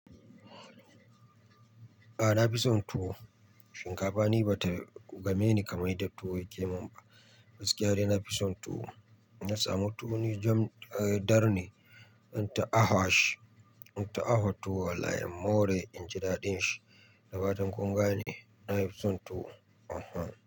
A'a na fi son tuwo, shinkafa ni ba ta game ni kamar yadda tuwo yake min ba. Gaskiya dai na fi son tuwo. Inna samu tuwo ne jam, eh dar ne zan ta ahua shi, in ta ahua tuwo wallahi in more in ji daɗin shi. Da fatan kun gane, na fi son tuwo uhum.